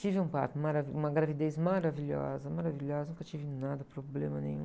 Tive um parto mara, uma gravidez maravilhosa, maravilhosa, nunca tive nada, problema nenhum.